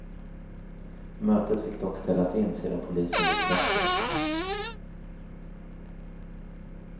Mötet fick dock ställas in sedan polisen gjort razzia.